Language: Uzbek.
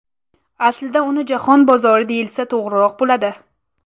Aslida uni jahon bozori deyilsa to‘g‘riroq bo‘ladi.